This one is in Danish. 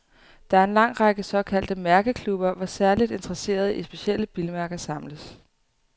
Der er en lang række såkaldte mærkeklubber, hvor særligt interesserede i specielle bilmærker samles.